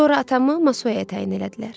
Sonra atamı Masuaya təyin elədilər.